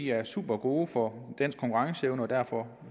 er supergode for dansk konkurrenceevne og derfor